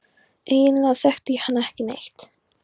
Eiginlega þekkti ég hann ekki neitt.